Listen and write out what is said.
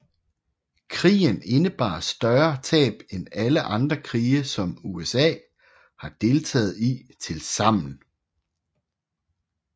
Krigen indebar større tab end alle andre krige som USA har deltaget i tilsammen